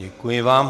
Děkuji vám.